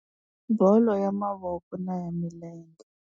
Bolo ya mavoko na ya milenge.